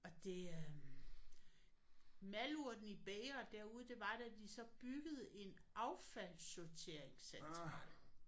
Og det øh malurten i bægeret derude det var da de så byggede en affaldssorteringscentral